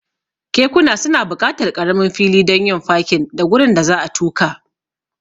Kekuna suna buƙatar ƙaramin fili don yin fakin da gurin da za'a tuka.